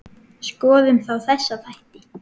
Skoðum þá þessa þætti.